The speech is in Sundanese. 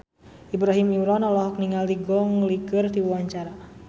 Ibrahim Imran olohok ningali Gong Li keur diwawancara